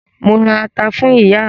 Mo ra ata fún ìyá mi.